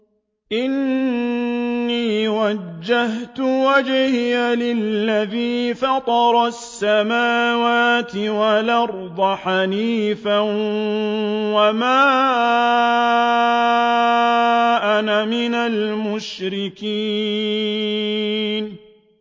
إِنِّي وَجَّهْتُ وَجْهِيَ لِلَّذِي فَطَرَ السَّمَاوَاتِ وَالْأَرْضَ حَنِيفًا ۖ وَمَا أَنَا مِنَ الْمُشْرِكِينَ